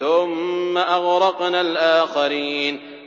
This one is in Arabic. ثُمَّ أَغْرَقْنَا الْآخَرِينَ